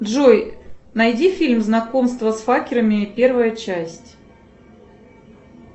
джой найди фильм знакомство с факерами первая часть